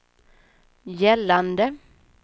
gällande